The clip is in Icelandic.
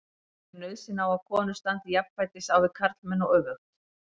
Telurðu nauðsyn á að konur standi jafnfætis á við karlmenn og öfugt?